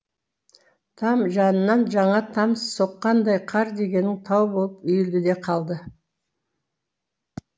там жанынан жаңа там соққандай қар дегенің тау болып үйілді де қалды